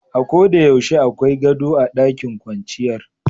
A'ko de yaushe akwai gado a ɗakin kwanciyar.